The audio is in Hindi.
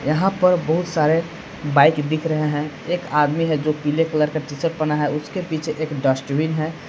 यहां पर बहुत सारे बाइक दिख रहे हैं एक आदमी है जो पीले कलर का टी शर्ट पहना है उसके पीछे एक डस्टबिन है।